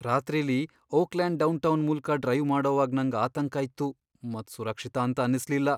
ರಾತ್ರಿಲಿ Oakland downtown ಮೂಲ್ಕ drive ಮಾಡೋವಾಗ್ ನಂಗ್ ಆತಂಕ ಇತ್ತು ಮತ್ ಸುರಕ್ಷಿತ ಅಂತ ಅನಿಸ್ಲಿಲ್ಲ.